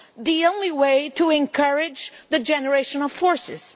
the only way to encourage the generational forces.